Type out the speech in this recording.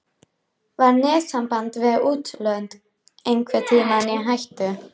Var netsamband við útlönd einhvern tímann í hættu?